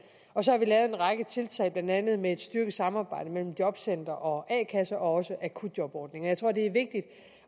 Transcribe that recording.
og så har vi lavet en række tiltag blandt andet med et styrket samarbejde mellem jobcentre og a kasser og også akutjobordningen jeg tror det er vigtigt